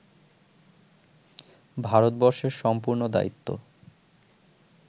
ভারতবর্ষের সম্পূর্ণ দায়িত্ব